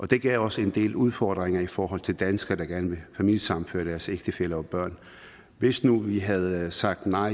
det gav os en del udfordringer i forhold til danskere der gerne vil familiesammenføre deres ægtefælle og børn hvis nu vi havde sagt nej